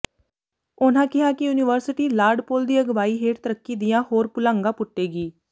ਉਨ੍ਹਾਂ ਕਿਹਾ ਕਿ ਯੂਨੀਵਰਸਿਟੀ ਲਾਰਡ ਪੌਲ ਦੀ ਅਗਵਾਈ ਹੇਠ ਤਰੱਕੀ ਦੀਆਂ ਹੋਰ ਪੁਲਾਂਘਾਂ ਪੁਟੇਗੀ